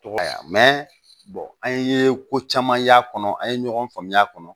Tɔgɔ ya an ye ko caman y'a kɔnɔ an ye ɲɔgɔn faamuya a kɔnɔ